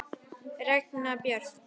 Regína Björk!